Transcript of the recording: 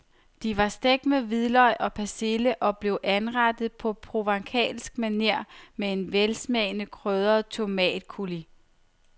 De var stegt med hvidløg og persille og blev anrettet på provencalsk maner på en velsmagende krydret tomatcoulis.